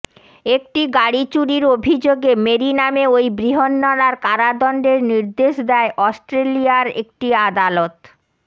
একটি গাড়ি চুরির অভিযোগে মেরি নামে ওই বৃহন্নলার কারাদণ্ডের নির্দেশ দেয় অস্ট্রেলিয়ার একটি আদালত